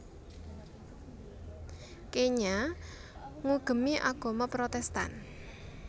Kenya ngugemi agama Protestan